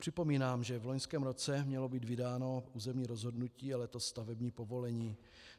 Připomínám, že v loňském roce mělo být vydáno územní rozhodnutí a letos stavební povolení.